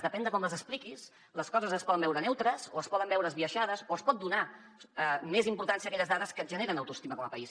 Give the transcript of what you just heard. depèn de com les expliquis les coses es poden veure neutres o es poden veure esbiaixades o es pot donar més importància a aquelles dades que ens generen autoestima com a país